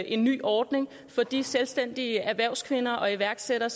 en ny ordning for de selvstændige erhvervskvinder og iværksættere